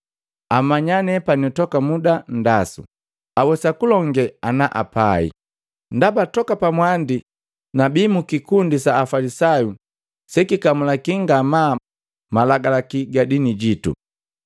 Amanya nepani toka muda nndasu, awesaku kulonge ana apai, ndaba toka pamwandi nabi mu kikundi sa Afalisayu sekikamulaki ngamaa malagalaki ga dini jitu.